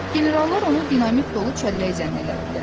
Generallar onu dinamit dolu çəllək zənn elədilər.